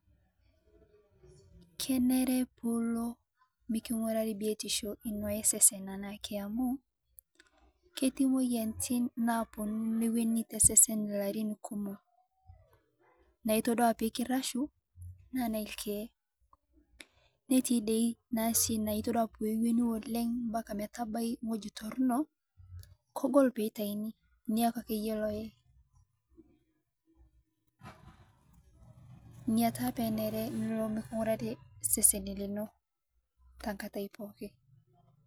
Kenere payie ilo miking'urari biotisho ee sesen lino anaake amu keti moyianitin naabonu neweni tesesen larin kumuo naitodua piikirashu naa nelkiye netii dei nasii natodua peweni oleng mpka metabai ngoji toruno kogol peitaini niyaku akeyie loye, nia taa penere payie ilo mikingurari sesen lino tangatai pooki.